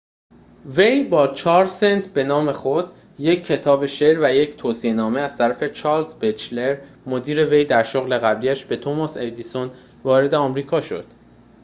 وی با 4 سنت به نام خود، یک کتاب شعر و یک توصیه نامه از طرف چارلز بچلر مدیر وی در شغل قبلی‌اش به توماس ادیسون، وارد آمریکا شد